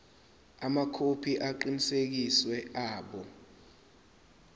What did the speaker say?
amakhophi aqinisekisiwe abo